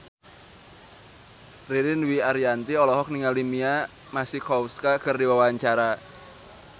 Ririn Dwi Ariyanti olohok ningali Mia Masikowska keur diwawancara